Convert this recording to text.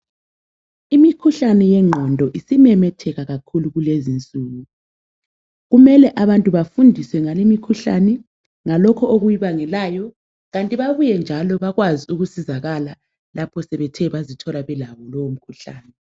Imikhuhlane yengqondo isimemetheka kakhulu kulezinsuku. Kumele abantu bafundiswe ngalimkhuhlane ngalokho okuyibangelayo kanti babuye njalo bathole ukusizakala lapho sebethe bazithola belawo lomkhuhlane.